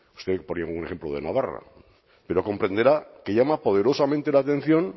usted ponía un ejemplo de navarra pero comprenderá que llama poderosamente la atención